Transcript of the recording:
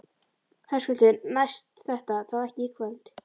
Höskuldur: Næst þetta þá ekki í kvöld?